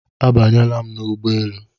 Abanyela m n'ụgbọelu